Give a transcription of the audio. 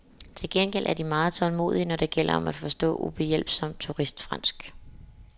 Til gengæld er de meget tålmodige, når det gælder om at forstå ubehjælpsomt turistfransk.